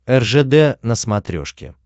ржд на смотрешке